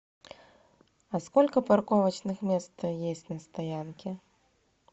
а сколько парковочных мест есть на стоянке